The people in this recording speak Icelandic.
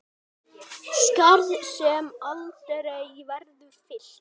Skarð sem aldrei verður fyllt.